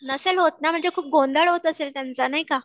नसेल होत ना म्हणजे खूप गोंधळ होत असेल त्यांचा नाही का?